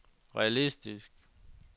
realistisk